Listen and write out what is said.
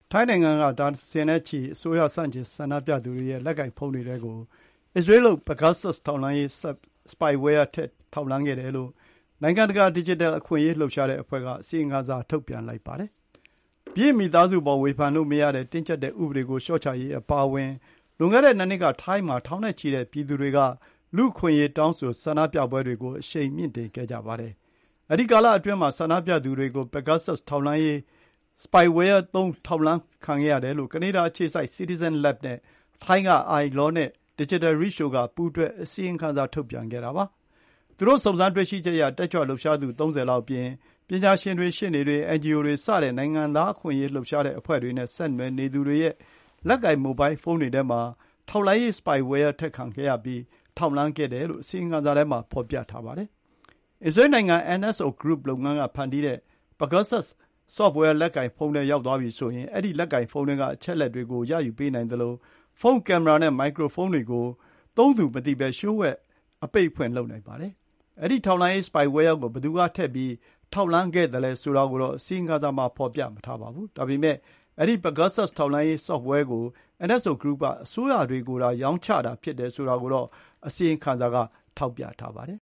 ထိုင်းနိုင်ငံက အစိုးရဆန့်ကျင်ဆန္ဒပြသူဒါဇင်နဲ့ချီရဲ့ လက်ကိုင်ဖုန်းတွေထဲကို အစ္စရေးလုပ် Pegasus ထောက်လှမ်းရေး spyware ထည့်ထောက်လှမ်းခံရတယ်လု့ိ နိုင်ငံတကာ ဒစ်ဂျစ်တယ်အခွင့်အရေးလှုပ်ရှားတဲ့အဖွဲ့က အစီရင်ခံစာ ထုတ်ပြန်လိုက်ပါတယ်။ ဘုရင်မိသားစုအပေါ် ဝေဖန်လို့မရတဲ့ တင်းကြပ်တဲ့ဥပဒေကို လျှော့ချပေးဖို့ အပါအဝင် လွန်ခဲ့တဲ့ ၂ နှစ်က ထိုင်းမှာထောင်နဲ့ချီတဲ့ ပြည်သူတွေ လူ့အခွင့်အရေးတောင်းဆို ဆန္ဒပြမှုတွေ အရှိန်မြင့်နေစဉ်ကာလက ဆန္ဒပြသူတွေကို Pegasus ထောက်လှမ်းရေး spyware သုံး ထောက်လှမ်းခံရတယ်လို့ ကနေဒါအခြေစိုက် Citizen Lab နဲ့ ထိုင်းက iLaw နဲ့ DigitalReach တို့က ပူးတွဲအစီရင်ခံထုတ်ပြန်ခဲ့တာပါ။ သူတို့ စုံစမ်းတေ့ွရှိချက်အရ တက်ကြွလှုပ်ရှားသူ ၃၀ လောက်အပြင် ပညာရှင်တွေ၊ ရှေ့နေတွေ၊ NGO တွေစတဲ့ နိုင်ငံသားအခွင့်အရေးလှုပ်ရှားတဲ့အဖွဲ့တွေနဲ့ ဆက်နွယ်နေသူတွေရဲ့ လက်ကိုင်မိုဘိုင်းဖုန်းတွေထဲမှာ ထောက်လှမ်းရေး spyware ထည့်ခံရပြီး ထောက်လှမ်းခဲ့ရတယ်လို့ အစီရင်ခံစာထဲမှာ ဖော်ပြထားပါတယ်။ အစ္စရေးနိုင်ငံ NSO Group လုပ်ငန်းက ဖန်တီးတဲ့ Pegasus software လက်ကိုင် ဖုန်းထဲရောက်သွားပြီဆိုရင် အဲဒီလက်ကိုင်ဖုန်းထဲက အချက်အလက်တွေကို ရယူပေးနိုင်သလို ဖုန်းကင်မရာနဲ့ မိုက်ကရိုဖုန်းတွေကို သုံးသူမသိဘဲ လျှို့ဝှက် အပိတ်အဖွင့်လုပ်နိုင်ပါတယ်။ အဲဒီ ထောက်လှမ်းရေး Spyware ကို ဘယ်သူက ထည့်ပြီး ထောက်လှမ်းသလဲဆိုတာကို အစီရင်ခံစာထဲမှာ ဖော်ပြမထားပါဘူး။ ဒါပေမယ့် အဲဒီ Pegasus ထောက်လှမ်းရေး Software ကို NSO Group က အစိုးရတွေကိုသာ ရောင်းချတာဖြစ်တယ်ဆိုတာကိုတော့ အစီရင်ခံစာက ထောက်ပြထားပါတယ်။